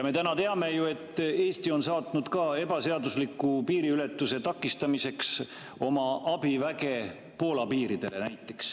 Me teame ju, et Eesti on saatnud ebaseadusliku piiriületuse takistamiseks abiväge Poola piirile.